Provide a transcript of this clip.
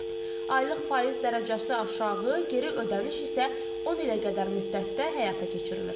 Aylıq faiz dərəcəsi aşağı, geri ödəniş isə 10 ilə qədər müddətdə həyata keçirilir.